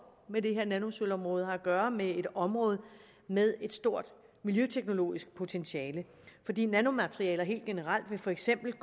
med det her nanosølvområde har at gøre med et område med et stort miljøteknologisk potentiale fordi nanomaterialer helt generelt for eksempel